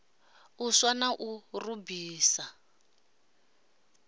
u swa na u rubisa